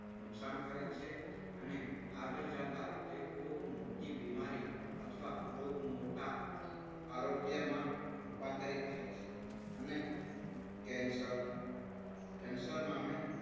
નુકસાન કરે છે. અને આગળ જતા તે ખૂબ મોટી બીમારી અથવા ખૂબ મોટા આરોગ્યમાં રૂપાંતરિત થાય છે. અને કેન્સર કેન્સર નામે